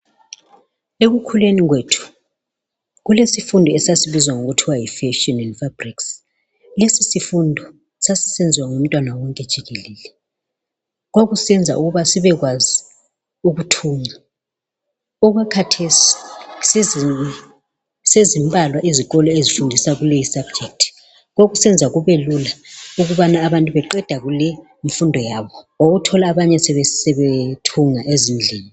Ekukhuleni kwethu kulesifundo sokuthunga esasisenziwa. Lesisifundo sasisenziwa ngumntwana wonke jikelele. Kwakusenza ukuba sibekwazi ukuthunga. Okwakhathesi sezimbalwa izikolo ezifundisa lesisifundo. Kwakusenza kubelula ngoba abantu beqeda kuyenza lesisifundo wawuthola sebethunga ezindlini.